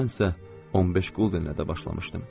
Mən isə 15 quldənlə də başlamışdım.